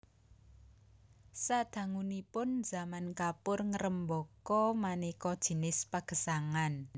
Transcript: Sadangunipun zaman kapur ngrembaka manéka jinis pagesangan